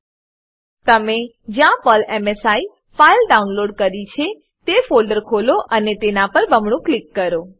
તમે જ્યાં Perl MSI Perl MSI file download કરી છે તે ફોલ્ડર ખોલો અને તેના પર બમણું ક્લિક કરો